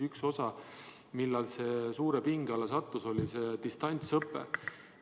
Üks tegur, mille tõttu see on suure pinge alla sattunud, on distantsõpe.